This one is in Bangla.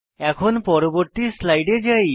এখন পরবর্তী স্লাইডে যাই